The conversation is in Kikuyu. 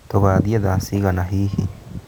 Tũgathiĩ thaa cigana hihi?